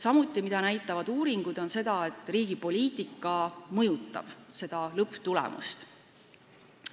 Samuti näitavad uuringud, et riigi poliitika mõjutab lõpptulemust.